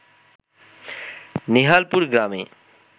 নেহালপুর গ্রামে